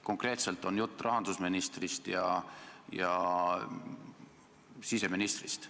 Konkreetselt on jutt rahandusministrist ja siseministrist.